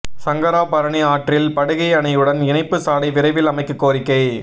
சங்கராபரணி ஆற்றில் படுகை அணையுடன் இணைப்பு சாலை விரைவில் அமைக்க கோரிக்கை